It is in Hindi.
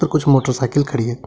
कुछ मोटरसाइकिल खड़ी है।